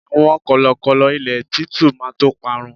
àwọn kọlọkọlọ ilé titu ma to parun